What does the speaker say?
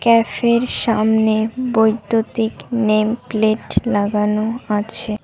Cafe র সামনে বৈদ্যুতিক নেমপ্লেট লাগানো আছে।